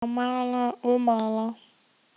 Lætur mig bara mala og mala.